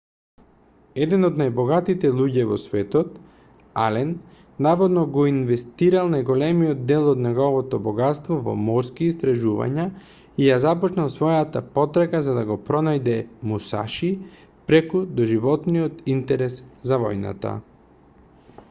еден од најбогатите луѓе во светот ален наводно го инвестирал најголемиот дел од неговото богатство во морски истражувања и ја започнал својата потрага за да го пронајде мусаши преку доживотниот интерес за војната